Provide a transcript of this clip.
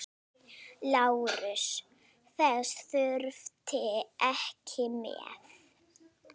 LÁRUS: Þess þurfti ekki með.